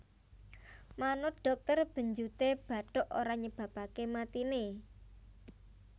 Manut dhokter benjuté bathuk ora nyebabaké matiné